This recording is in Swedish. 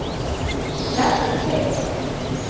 Bertil Pedersen